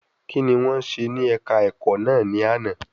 Kí ni wọ́n ṣe ní ẹ̀ka ẹ̀kọ́ náà ní àná?